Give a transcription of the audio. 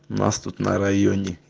нас тут на районе